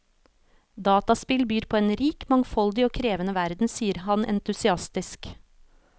Dataspill byr på en rik, mangfoldig og krevende verden, sier han entusiastisk.